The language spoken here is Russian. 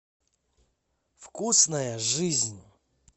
вкусная жизнь